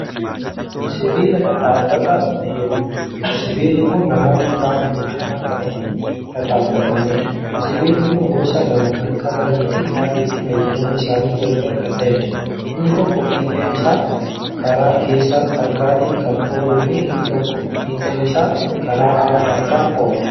Sibiila dhadhaabataaf fayyaduudha. sibiilli Kuni namoonni qaama miidhamaa Kan ittiin dhadhaabataniidha. sibiilli Kuni gosa lama Kan qabaniifi haalli itti fayyadama isaanii gargar Kan ta'eedha. inni tokko fiixeen Isaa Kara keessa harkaatiin Kan oolufi inni tokkommoo fiixeen Isaa Kara ala harkaan oola.